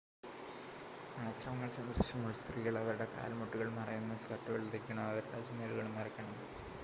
ആശ്രമങ്ങൾ സന്ദർശിക്കുമ്പോൾ സ്ത്രീകൾ അവരുടെ കാൽ മുട്ടുകൾ മറയുന്ന സ്കർട്ടുകൾ ധരിക്കണം അവരുടെ ചുമലുകളും മറയ്ക്കണം